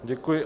Děkuji.